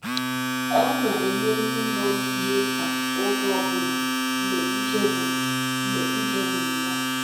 Ọ na-enye ndị nọ n’ihe mkpa oge ọbụna mgbe ike gwụrụ mgbe ike gwụrụ ya.